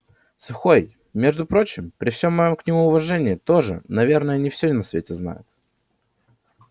сухой между прочим при всём моем к нему уважении тоже наверное не всё на свете знает